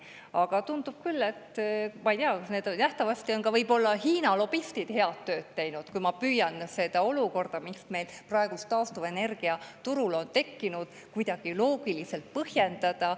Aga tundub küll, et nähtavasti on Hiina lobistid head tööd teinud, kui ma püüan seda olukorda, mis meil praegu taastuvenergia turul on tekkinud, kuidagi loogiliselt põhjendada.